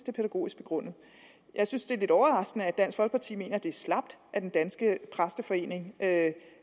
er pædagogisk begrundet jeg synes det er lidt overraskende at dansk folkeparti mener at det er slapt af den danske præsteforening at